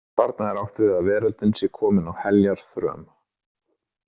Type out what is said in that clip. Þarna er átt við að veröldin sé komin á heljarþröm.